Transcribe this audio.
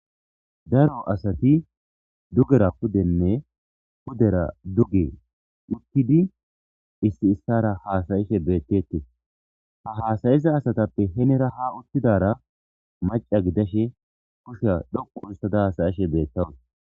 Daro asati dugera pudenne pudera duge uttidi issi issara haasayishe beettetes ha haasayiza asatappe henera ha uttidara maca gidashe kushya dhoqu issada hasayishe beettawus.